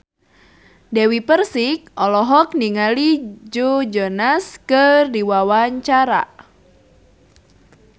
Dewi Persik olohok ningali Joe Jonas keur diwawancara